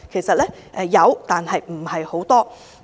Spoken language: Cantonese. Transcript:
當然有，但為數不多。